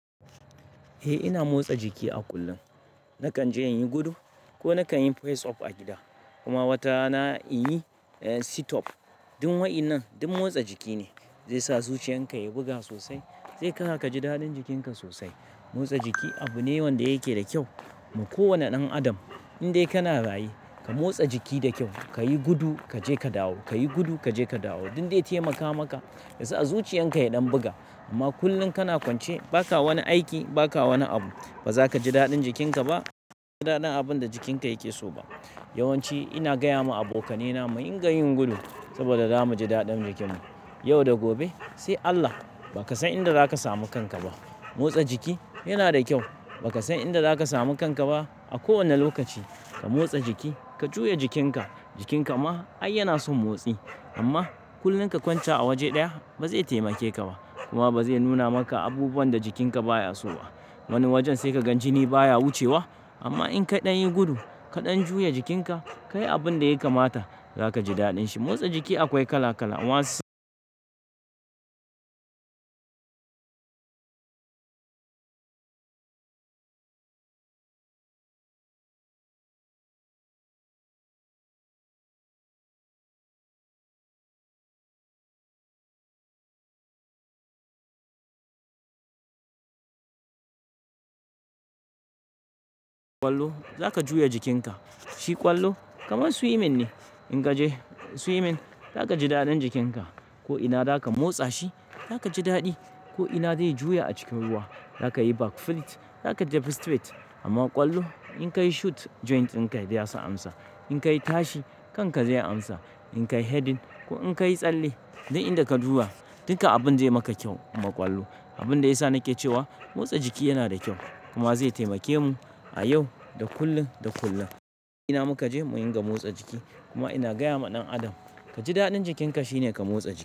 Eh ina motsa jiki a kullum. Nakan je in yi gudu ko nakan yi press up a gida kuma watarna in yi sit up. Duk wa'inan, duk motsa jiki ne. Zai sa zuciyarka ya buga sosai, zai saka ka ji daɗin jikinka sosai. Motsa jiki abu ne wanda yake da kyau ma ko wanne ɗan adam. In dai kana raye, ka motsa jiki da kyau, ka yi gudu kaje ka dawo, ka yi gudu kaje ka dawo. Duk dai taimaka maka yasa zuciyarka ya ɗan buga. Amma kullum kana kwance ba ka wani aiki, ba ka wani abu. Ba za ka ji daɗin jikinka ba, ba za ka ji daɗin abin da jikinka yake so ba. Yawanci ina gaya ma abokaina mu dinga yin gudu saboda za mu ji daɗin jikinmu. Yau da gobe sai Allah ba ka san inda za ka samu kanka ba. Motsa jiki yana da kyau. Ba ka san inda za ka samu kanka ba. A kowane lokaci ka motsa jiki, ka juya jikinka. Jikinka ma ai yana son motsi amma kullum ka kwanta a waje ɗaya ba zai taimake ka ba kuma ba zai nuna maka abubuwan da jikinka baya so ba. Wani wajen sai ka gan jini baya wucewa. Amma in ka ɗan yi gudu, ka ɗan juya jikinka, ka yi abin da ya kamata, za ka ji daɗin shi. Motsa jiki akwai kala kala. Wan kwallo za ka juya jikinka. Shi ƙwallo kamar swimming ne. In ka je swimming za ka ji daɗin jikinka ko ina za ka motsa shi, za ka ji daɗi ko ina zai juya a cikin ruwa. Za ka yi back flip, za ka tafu straight amma kwallo in ka yi shoot joint din ka zai isa amsa. In ka yi tashi kanka zai amsa. In ka yi heading ko in ka yi tsalle duk inda ka duba, duka abin zai maka kyau ma ƙwallo. Abin da ya sa nake cewa motsa jiki yana da kyau kuma zai taimake mu a yau da kullum, da kullum. Ina muka je mu dinga motsa jiki kuma ina gaya ma ɗan adam ka ji daɗin jikinka shine ka motsa jiki.